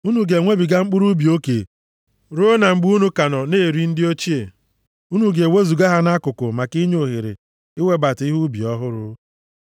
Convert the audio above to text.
Unu ga-enwebiga mkpụrụ ubi oke ruo na mgbe unu ka nọ na-eri ndị ochie unu ga-ewezuga ha nʼakụkụ maka inye ohere iwebata ihe ubi ọhụrụ.